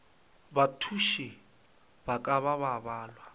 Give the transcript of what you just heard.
bathuši ba ka ba balwa